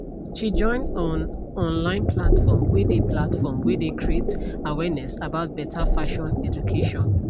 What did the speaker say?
she join on online platform whey dey platform whey dey creat awareness about beta fashion education